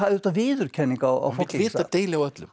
viðurkenning á fólki vita deili á öllum